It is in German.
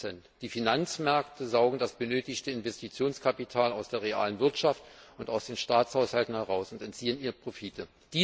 40 Die Finanzmärkte saugen das benötigte Investitionskapital aus der realen Wirtschaft und aus den Staatshaushalten heraus und entziehen ihnen Profite.